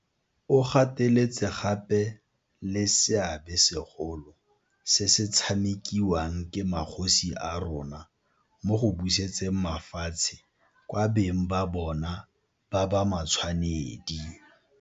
O gateletse gape le seabe segolo se se tshamekiwang ke magosi a rona mo go busetseng mafatshe kwa beng ba bona ba ba matshwanedi.